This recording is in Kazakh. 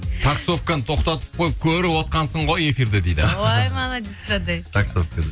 таксовканы тоқтатып қойып көріп отқансың ғой эфирді дейді ой молодец қандай таксовка дейді